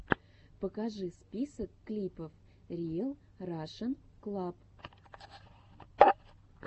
покажи список клипов риэл рашен клаб